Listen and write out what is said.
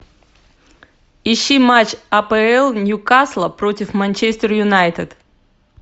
ищи матч апл ньюкасла против манчестер юнайтед